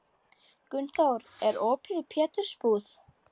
Gunnþór, er opið í Pétursbúð?